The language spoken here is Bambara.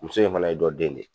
Muso in fana ye dɔ den de ye.